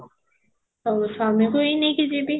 ଅ ସ୍ବାମୀ କୁ ହିଁ ନେଇକି ଯିବି